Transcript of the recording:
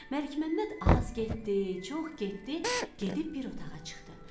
Məlikməmməd az getdi, çox getdi, gedib bir otağa çıxdı.